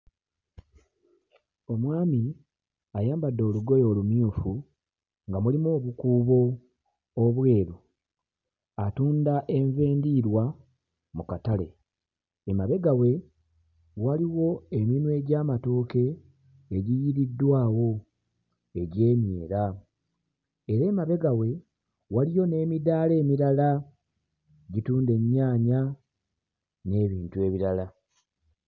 Omwami ayambadde olugoye olumyufu nga mulimu obukuubo obweru. Atunda enva endiirwa mu katale. Emabega we waliwo eminwe gy'amatooke egiyiiriddwawo egy'emyera. Era emabega we waliyo n'emidaala emirala egitunda ennyaanya, n'ebintu ebirala.